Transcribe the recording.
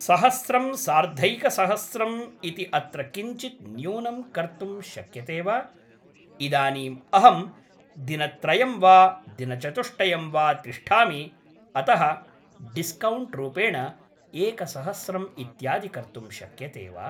सहस्रं सार्धैकसहस्रम् इति अत्र किञ्चित् न्यूनं कर्तुं शक्यते वा इदानीम् अहम् दिनत्रयं वा दिनचतुष्टयं वा तिष्ठामि अतः डिस्कौण्ट् रूपेण एकसहस्रम् इत्यादि कर्तुं शक्यते वा